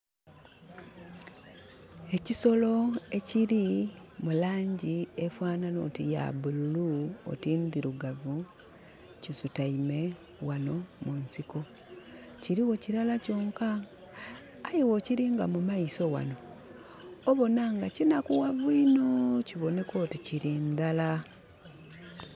Ekisolo ekiri mu langi efanhanha oti ya bululu oti ndirugavu kisutaime ghano mu nsiko, kirigho kilala kyonka. Aye bwokiringa mu maiso ghano, obona nga kinakughavu inho kiboneka oti kiri ndhala.